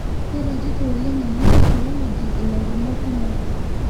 keretito oleng ena technology ilairemok kumok